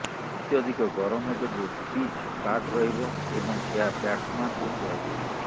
ଅତ୍ୟଧିକ ଗରମ ଯୋଗୁ ପିଚ୍ ଫ୍ଲାଟ୍ ରହିବ ଏବଂ ଏହା ବ୍ୟାଟ୍ସମ୍ୟାନଙ୍କୁ ସୁହାଇବ